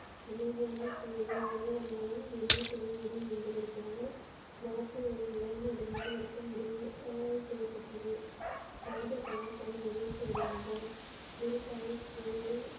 அமைதியான சூழலில் வருவதன் மூலம் என்ன செய்ய முடியும் என்பதற்காக ஆஹ் செய்யப்பட்டது ராஜ தடாசன் மகிழ்ச்சி அடைந்த குரு சாகிப்பை.